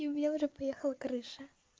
и у веры поехала крыша